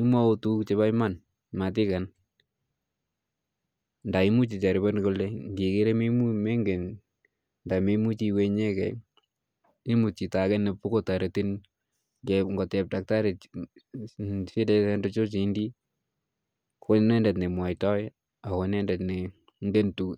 iwalu tukuk cheponiman matikenu kongingen ile mekanye iwalu imut chito nepokongalali